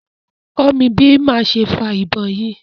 kọ́ mí bi máa ṣe fa ìbọn yìí!